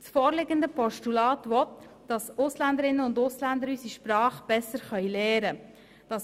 Das vorliegende Postulat will, dass die Ausländerinnen und Ausländer unsere Sprache besser lernen können.